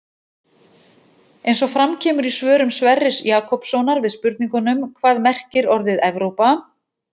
Eins og fram kemur í svörum Sverris Jakobssonar við spurningunum Hvað merkir orðið Evrópa?